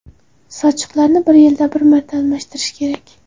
Sochiqlarni yilda bir marta almashtirish kerak.